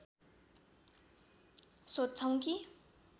सोध्छौं कि